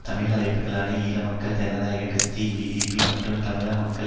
தமிழ் அமைப்புகளான ஈழ மக்கள் ஜனநாயக கட்சி ஈடிபி மற்றும் தமிழீழ மக்கள்